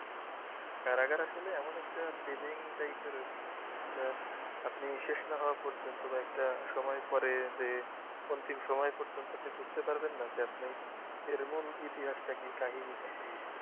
কারাগার আসলে এমন একটা thrilling type এর আরকি আহ আপনি শেষ না হওয়া পর্যন্ত বা একটা সময়ের পরে যে অন্তিম সময় পর্যন্ত যে আপনি বুঝতে পারবেন না যে আপনি এর মূল ইতিহাসটা কী এর কাহিনিটা,